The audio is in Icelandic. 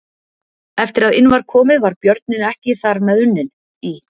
Eftir að inn var komið var björninn ekki þar með unninn: Í